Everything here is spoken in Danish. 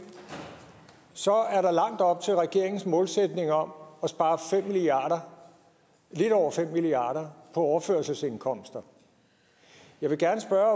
så er der langt op til regeringens målsætning om at spare lidt over fem milliard kroner på overførselsindkomster jeg vil gerne spørge